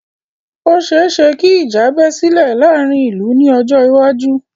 Ò ṣeẹ́ṣẹ kí ìjà bẹ́ sílè láàárín ìlú ní ọjọ́ iwájú.